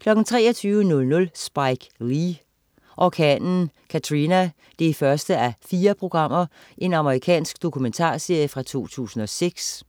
23.00 Spike Lee: Orkanen Katrina 1:4. Amerikansk domumentarserie fra 2006